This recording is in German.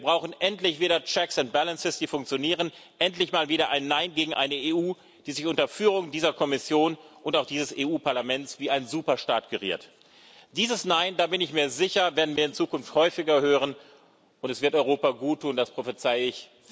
Wir brauchen endlich wieder checks and balances die funktionieren, endlich mal wieder ein Nein gegen eine EU, die sich unter Führung dieser Kommission und auch dieses Europäischen Parlaments wie ein Superstaat geriert. Dieses Nein, da bin ich mir sicher, werden wir in Zukunft häufiger hören, und es wird Europa guttun, das prophezeie ich.